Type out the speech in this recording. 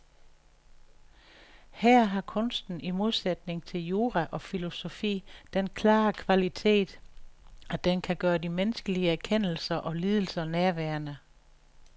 Her har kunsten i modsætning til jura og filosofi den klare kvalitet, at den kan gøre de menneskelige erkendelser og lidelser nærværende.